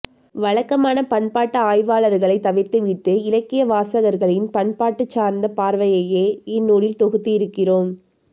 வழக்கமான பண்பாட்டு ஆய்வாளர்களை தவிர்த்துவிட்டு இலக்கியவாசகர்களின் பண்பாடு சார்ந்த பார்வையையே இந்நூலில் தொகுத்திருக்கிறோம்